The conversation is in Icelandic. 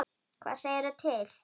Hvað segirðu til?